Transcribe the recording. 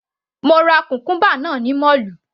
Mo ra cucumber náà ní mọ́ọ̀lù.